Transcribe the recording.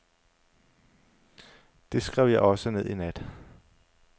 Det skrev jeg også ned i nat.